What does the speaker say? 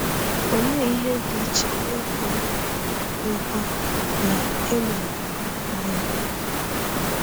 Olee ihe dị iche n’ịkọ nkọ na ịmụrụ anya?